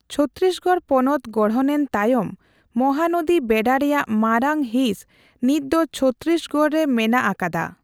ᱪᱷᱚᱛᱛᱤᱥᱜᱚᱲ ᱯᱚᱱᱚᱛ ᱜᱚᱲᱦᱚᱱᱮᱱ ᱛᱟᱭᱚᱢ ᱢᱚᱦᱟᱱᱚᱫᱤ ᱵᱮᱰᱟ ᱨᱮᱭᱟᱜ ᱢᱟᱨᱟᱝ ᱦᱤᱸᱥ ᱱᱤᱛᱫᱚ ᱪᱷᱚᱛᱛᱤᱥᱜᱚᱲ ᱨᱮ ᱢᱮᱱᱟᱜ ᱟᱠᱟᱫᱟ ᱾